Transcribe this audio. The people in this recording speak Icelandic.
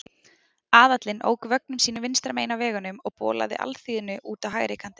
Aðallinn ók vögnum sínum vinstra megin á vegunum og bolaði alþýðunni út á hægri kantinn.